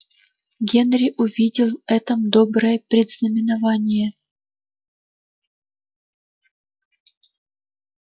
генри увидел в этом доброе предзнаменование